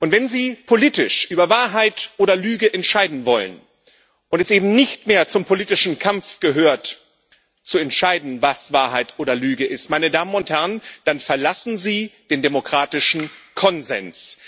Wenn Sie politisch über Wahrheit oder Lüge entscheiden wollen und es eben nicht mehr zum politischen Kampf gehört, zu entscheiden, was Wahrheit oder Lüge ist, dann verlassen Sie den demokratischen Konsens.